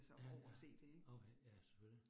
Ja ja, okay, ja selvfølgelig